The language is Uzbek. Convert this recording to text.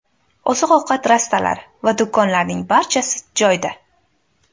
Oziq-ovqat rastalari va do‘konlarning barchasi joyida.